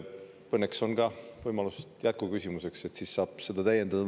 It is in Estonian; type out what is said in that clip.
Õnneks on ka võimalus jätkuküsimuseks, siis saab seda ka täiendada.